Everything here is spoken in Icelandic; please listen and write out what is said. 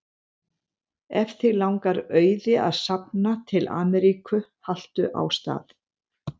Ef þig langar auði að safna til Ameríku haltu á stað.